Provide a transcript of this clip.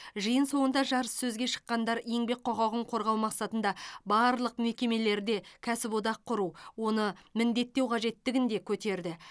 жиын соңында жарыссөзге шыққандар еңбек құқығын қорғау мақсатында барлық мекемелерде кәсіподақ құру оны міндеттеу қажеттігін де көтерді